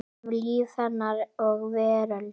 Um líf hennar og veröld.